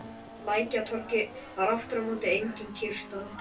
Á Lækjartorgi var aftur á móti engin kyrrstaða.